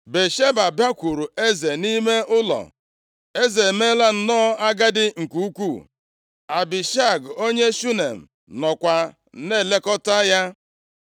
Batsheba bakwuuru eze nʼime ụlọ. Eze emeela nnọọ agadi nke ukwuu. Abishag onye Shunem nọkwa na-elekọta ya.